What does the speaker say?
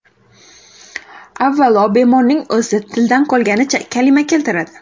Avvalo, bemorning o‘zi tildan qolganicha kalima keltiradi.